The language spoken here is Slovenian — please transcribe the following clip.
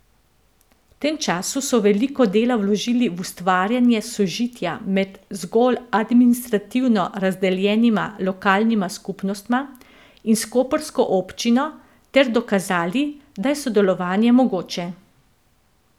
V tem času so veliko dela vložili v ustvarjanje sožitja med zgolj administrativno razdeljenima lokalnima skupnostma in s koprsko občino ter dokazali, da je sodelovanje mogoče.